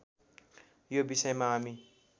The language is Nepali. यो विषयमा हामी